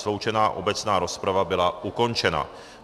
Sloučená obecná rozprava byla ukončena.